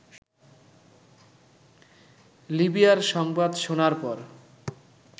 লিবিয়ার সংবাদ শোনার পর